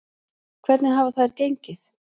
Hvernig hafa þær gengið?